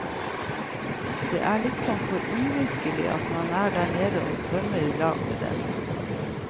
Det er liksom for uvirkelig at man er der nede og svømmer ilag med dem.